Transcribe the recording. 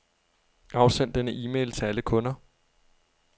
Afsend denne e-mail til alle kunder.